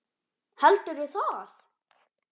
Heldurðu það?